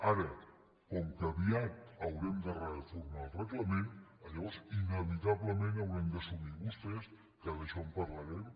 ara com que aviat haurem de reformar el reglament llavors inevitablement hauran d’assumir vostès que d’això en parlarem